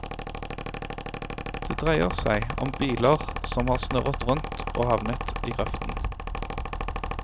Det dreier seg om biler som har snurret rundt og havnet i grøften.